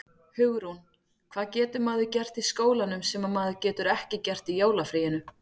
Hugrún: Hvað getur maður gert í skólanum sem maður getur ekki gert í jólafríinu?